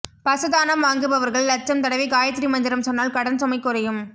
பசு தானம் வாங்குபவர்கள் லட்சம் தடவை காயத்ரி மந்திரம் சொன்னால் கடன் சுமை குறையும்